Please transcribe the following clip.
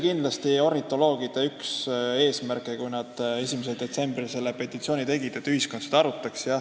Kindlasti oli ornitoloogide üks eesmärke, kui nad 1. detsembril selle petitsiooni esitasid, see, et ühiskond seda teemat arutaks.